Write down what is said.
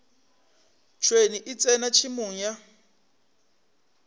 tšhwene e tsena tšhemong ya